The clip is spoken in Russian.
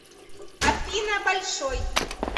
афина большой